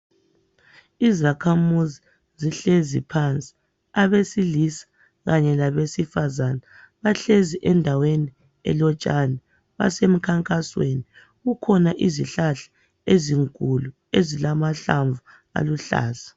Izakhamuzi zihlezi phansi, abesilisa kanye labesifazane. Bahlezi endaweni elotshani, besemkhankasweni. Kukhona izihlahla ezinkulu ezilamahlamvu aluhlaza.